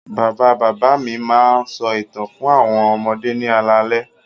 Bàbá-bàbá mi máa ń sọ ìtàn fún àwọn ọmọdé ní alaalẹ́.